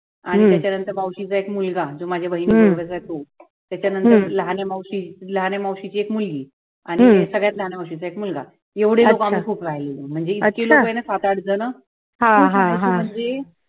आणि त्याच्यानंतर मावशीचा एक मुलगा तो माझ्या बहिणीचा तो नंतर लहाने मावशी, लहाने मावशीची एक मुलगी आणि ते सर्वात लहान मावशीचा एक मुलगा एवढी लोक आम्ही खूप राहिलेलो म्हंजी इतकी लोक आहे ना सातारा बित्रयला